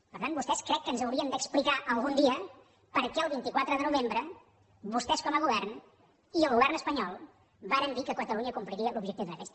per tant vostès crec que ens haurien d’explicar algun dia per què el vint quatre de novembre vostès com a govern i el govern espanyol varen dir que catalunya compliria l’objectiu de dèficit